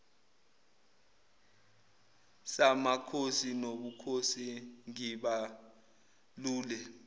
samakhosi nobukhosi ngibalule